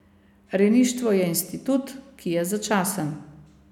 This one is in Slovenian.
Rejništvo je institut, ki je začasen.